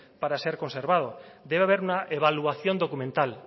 para ser conservado debe haber una evaluación documental